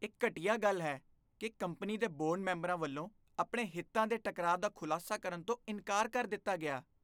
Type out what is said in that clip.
ਇਹ ਘਟੀਆ ਗੱਲ ਹੈ ਕਿ ਕੰਪਨੀ ਦੇ ਬੋਰਡ ਮੈਂਬਰਾਂ ਵੱਲੋਂ ਆਪਣੇ ਹਿੱਤਾਂ ਦੇ ਟਕਰਾਅ ਦਾ ਖੁਲਾਸਾ ਕਰਨ ਤੋਂ ਇਨਕਾਰ ਕਰ ਦਿੱਤਾ ਗਿਆ ।